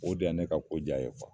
O de ya ne ka ko j'a ye